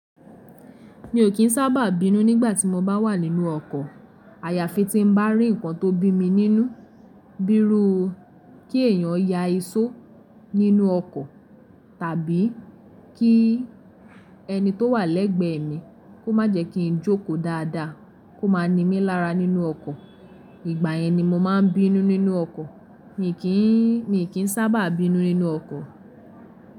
Mi ò kí ń sábà bínú nígbà tí mo bá wà nínú ọkọ̀, àyàfi tí ń bá rí nǹkan tó bí mi nínú, bi írú kí èèyàn ya ìsó nínú ọkọ̀ tàbí kí ẹni tó wà lẹ́gbẹ́ mi kó má jẹ kí ń jókòó dáadáa kó máa ni mí lára nínú ọkọ̀, ìgbà yẹn ni mo máa ń bínú nínú ọkọ̀, mi kii mi kìi ń sábà bínú nínú ọkọ̀.